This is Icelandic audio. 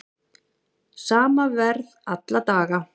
Sama verð alla daga